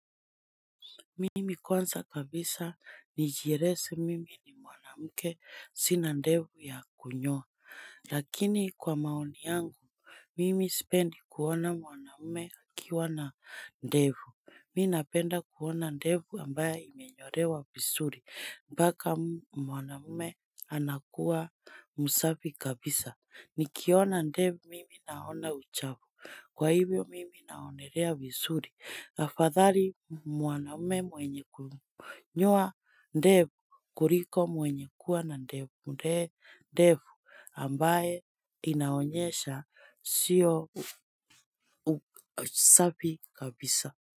Mimi kwanza kabisa, nijieleze mimi ni mwanamke, sina ndevu ya kunyoa, lakini kwa maoni yangu mimi sipendi kuona mwanamme akiwa na ndevu mi napenda kuona ndevu ambayo imenyolewa vizuri, mpaka mwanamme anakuwa msafi kabisa, nikiona ndevu mimi naona uchafu kwa hivyo mimi naonelea vizuri, afadhali mwanaume mwenye kuwa nyoa ndevu kuliko mwenye kuwa na ndevu ambae inaonyesha sio safi kabisa.